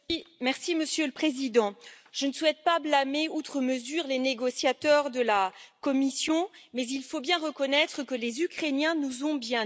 Monsieur le Président, je ne souhaite pas blâmer outre mesure les négociateurs de la Commission, mais il faut bien reconnaître que les Ukrainiens nous ont bien eus.